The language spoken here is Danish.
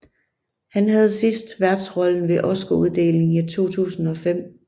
Han havde sidst værtsrollen ved Oscaruddelingen 2005